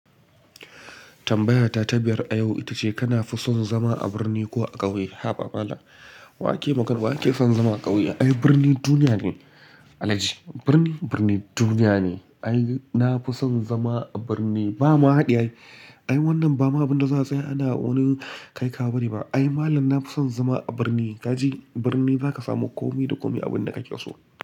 Tambayata ta biyar a yau ita ce kana fi son zama a birni ko a ƙauye? Haba malam wa ke makar wa ke son zama a ƙauye? Ai birni duniya ne. Alhaji birni birni duniya ne. Ai na fi son zama a birni bama haɗi ai. Ai wannan ba ma abin da za a tsaya ana wani kai kawo bane ba. Ai malam na fi son zama a birni. Kaji birni za ka samu kome da kome abin da ka ke so.